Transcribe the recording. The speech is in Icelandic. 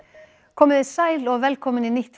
komiði sæl og velkomin í nýtt